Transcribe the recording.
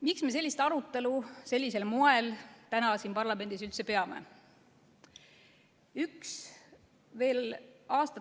Miks me sellist arutelu sellisel moel täna siin parlamendis üldse peame?